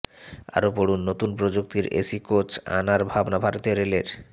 আরও পড়ুন নতুন প্রযুক্তির এসি কোচ আনার ভাবনা ভারতীয় রেলের